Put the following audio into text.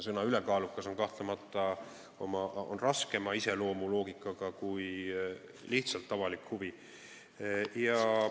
"Ülekaalukas avalik huvi" on kahtlemata raskema iseloomuloogikaga kui lihtsalt "avalik huvi".